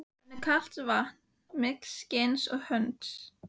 Rennur kalt vatn milli skinns og hörunds.